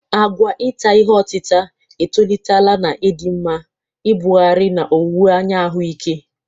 Àgwà ita ihe otita etolitela n'ịdị mma, ibugharị, na owuwe anya ahụike.